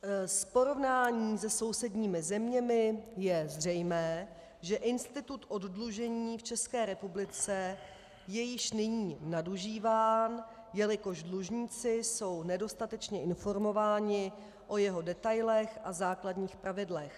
Z porovnání se sousedními zeměmi je zřejmé, že institut oddlužení v České republice je již nyní nadužíván, jelikož dlužníci jsou nedostatečně informováni o jeho detailech a základních pravidlech.